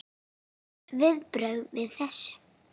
Þín viðbrögð við þessu?